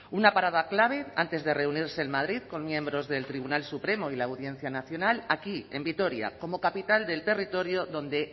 una parada clave antes de reunirse en madrid con miembros del tribunal supremo y la audiencia nacional aquí en vitoria como capital del territorio donde